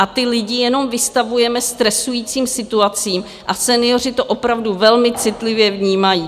A ty lidi jenom vystavujeme stresujícím situacím a senioři to opravdu velmi citlivě vnímají.